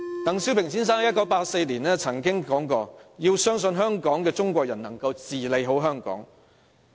鄧小平先生在1984年曾說，"要相信香港的中國人能治理好香港。